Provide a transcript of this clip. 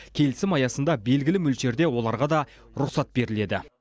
келісім аясында белгілі мөлшерде оларға да рұқсат беріледі